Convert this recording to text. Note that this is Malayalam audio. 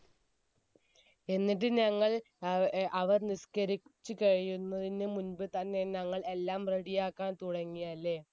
എന്നിട് ഞങ്ങൾ അവർ നിസ്കരിച്ച് കഴിയുന്നതിന് മുൻപ് തന്നെ ഞങ്ങൾ എല്ലാം ready ആകാൻ തുടങ്ങി അല്ലെ